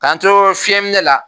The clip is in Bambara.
K'an to fiyɛminɛ la